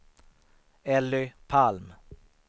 Elly Palm